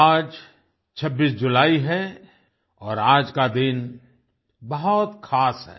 आज 26 जुलाई है और आज का दिन बहुत खास है